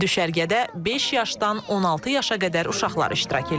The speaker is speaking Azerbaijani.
Düşərgədə beş yaşdan 16 yaşa qədər uşaqlar iştirak eləyir.